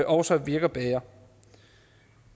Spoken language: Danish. også virker bedre